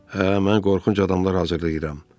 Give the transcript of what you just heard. Hə, mən qorxunc adamlar hazırlayıram.